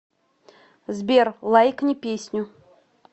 сбер лайкни песню